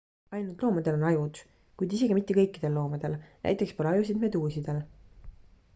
ainult loomadel on ajud kuid isegi mitte kõikidel loomadel; näiteks pole ajusid meduusidel